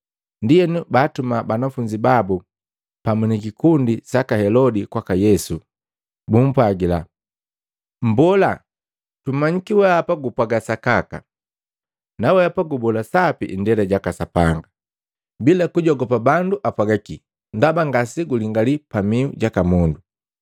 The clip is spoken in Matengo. Ndienu baatuma banafunzi babu pamu ni kikundi saka Helodi kwaka Yesu, bumpwagila, “Mbola, tumanyiki weapa gupwaga sakaka, naweapa gubola sapi indela jaka Sapanga, bila kujogopa bandu apwagakii, ndaba ngasegulingali pamiu jaka mundu.